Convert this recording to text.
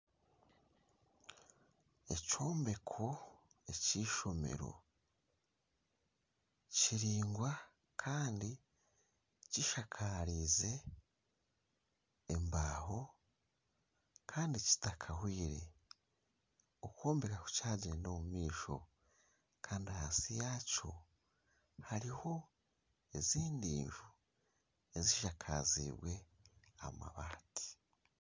Ekyombeko ekishomero kiraingwa Kandi kishakariize embaho Kandi kitakahweire okwombeka kukyagyenda omu maisho Kandi ahansi yaakyo hariho ezindi enju ezishakaziibwe amabaati